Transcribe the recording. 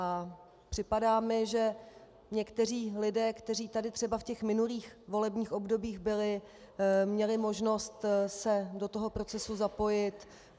A připadá mi, že někteří lidé, kteří tady třeba v těch minulých volebních obdobích byli, měli možnost se do toho procesu zapojit.